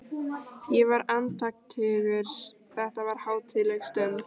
Ég var andaktugur, þetta var hátíðleg stund.